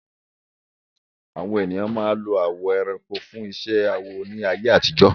Àwọn ènìyàn ń lo awọ àwọn ẹranko fún iṣẹ́ awọ ní ayé àtijọ́.